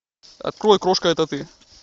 открой крошка это ты